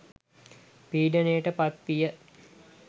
පීඩනයට පත් විය.